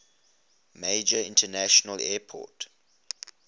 major international airport